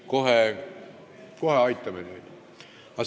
Kohe me aitame teid.